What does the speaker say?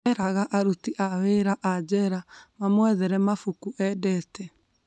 Eraga aruti a wĩra a jera mamwethere mabuku endete